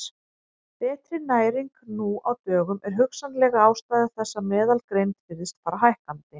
Betri næring nú á dögum er hugsanleg ástæða þess að meðalgreind virðist fara hækkandi.